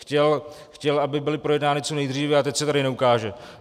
Chtěl, aby byly projednány co nejdříve, a teď se tady neukáže.